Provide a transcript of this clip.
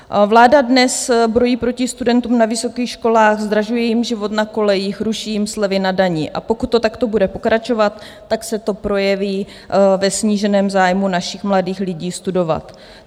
Vláda dnes brojí proti studentům na vysokých školách, zdražuje jim život na kolejích, ruší jim slevy na dani, a pokud to takto bude pokračovat, tak se to projeví ve sníženém zájmu našich mladých lidí studovat.